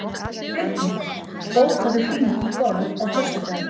Birgit, bókaðu hring í golf á föstudaginn.